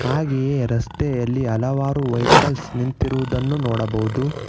ಹಾಗೆಯೆ ರಸ್ತೆಯಲ್ಲಿ ಹಲವಾರು ವೈಕಲ್ಸ್ ನಿಂತಿರುವುದನ್ನು ನೋಡಬಹುದು.